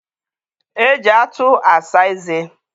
e ji atụ asa eze.